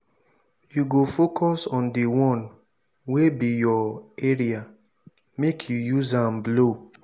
you go focus on dis one wey be your area make you use am blow.